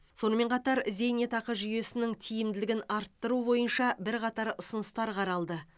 сонымен қатар зейнетақы жүйесінің тиімділігін арттыру бойынша бірқатар ұсыныстар қаралды